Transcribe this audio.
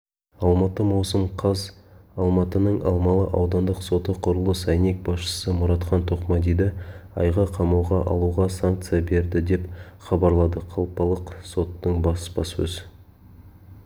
алматы маусым қаз алматының алмалы аудандық соты құрылыс әйнек басшысы мұратхан тоқмадиді айға қамауға алуға санкция берді деп хабарлады қалалық соттың баспасөз